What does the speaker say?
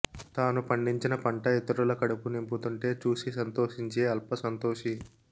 తాను పండించిన పంట ఇతరుల కడుపు నింపుతుంటే చూసి సంతోషించే అల్పసంతోషి